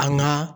An ka